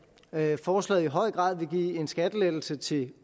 at forslaget i høj grad vil give en skattelettelse til